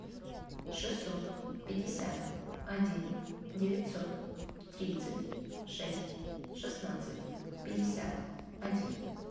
шестьсот пятьдесят один девятьсот тридцать шесть шестнадцать пятьдесят один